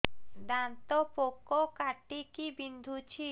ଦାନ୍ତ ପୋକ କାଟିକି ବିନ୍ଧୁଛି